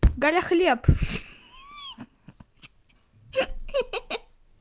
галя хлеб хе-хе